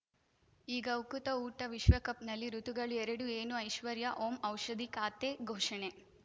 ಈಗ ಉಕುತ ಊಟ ವಿಶ್ವಕಪ್‌ನಲ್ಲಿ ಋತುಗಳು ಎರಡು ಏನು ಐಶ್ವರ್ಯಾ ಓಂ ಔಷಧಿ ಖಾತೆ ಘೋಷಣೆ